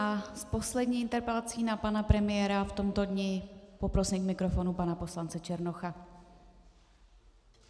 A s poslední interpelací na pana premiéra v tomto dni poprosím k mikrofonu pana poslance Černocha.